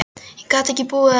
Ég gat ekki búið þar lengur.